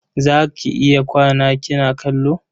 Za ki iya kwana kina kallo?